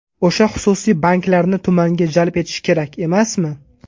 O‘sha xususiy banklarni tumanga jalb etish kerak emasmi?